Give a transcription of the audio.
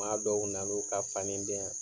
Maa dɔw nan'u ka fani di yan.